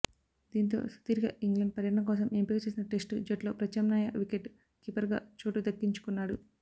దీంతో సుదీర్ఘ ఇంగ్లాండ్ పర్యటన కోసం ఎంపిక చేసిన టెస్టు జట్టులో ప్రత్యామ్నాయ వికెట్ కీపర్గా చోటు దక్కించుకున్నాడు